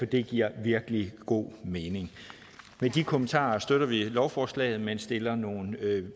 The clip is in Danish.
det giver virkelig god mening med de kommentarer støtter vi lovforslaget men stiller nogle